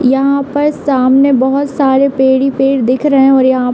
यहाँ पर सामने बोहोत सारे पेड़ ही पेड़ दिख रहे हैं और यहाँ --